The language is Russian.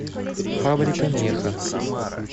фабрика меха